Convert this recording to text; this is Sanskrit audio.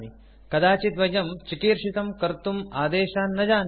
कदाचित् वयं चिकीर्षितं कर्तुम् आदेशान् न जानीमः